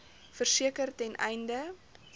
verseker ten einde